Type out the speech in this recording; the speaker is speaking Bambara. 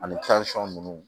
Ani ninnu